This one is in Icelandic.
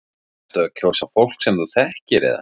Ertu að kjósa fólk sem þú þekkir eða?